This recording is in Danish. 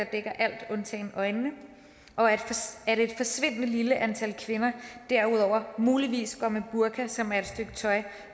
alt undtagen øjnene og at et forsvindende lille antal kvinder derudover muligvis går med burka som er et stykke tøj